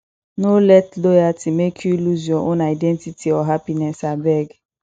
no let loyalty make you lose your own identity or happiness abeg